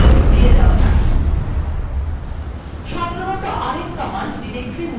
terminalএ ফিরে যাওয়া যাক